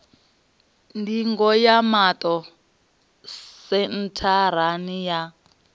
ndingo ya maṱo sentharani ya